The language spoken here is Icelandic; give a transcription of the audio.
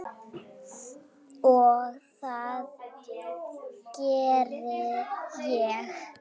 Og það gerði ég.